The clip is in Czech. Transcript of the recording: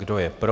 Kdo je pro?